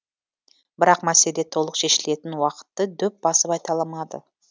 бірақ мәселе толық шешілетін уақытты дөп басып айта алмады